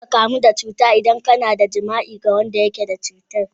Za ka kamu da cuta idan ka na yin jima'i da wanda yake da cutar.